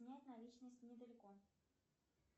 снять наличность недалеко